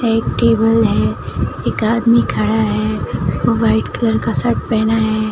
एक टेबल है एक आदमी खड़ा है वो व्हाईट कलर का शर्ट पहना है।